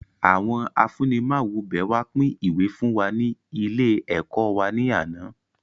Àwọn afunimawobẹ wá pin ìwé fún wa ní ilé ẹ̀kọ́ wá ní àná